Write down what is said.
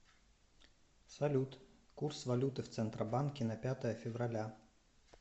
салют курс валюты в центробанке на пятое февраля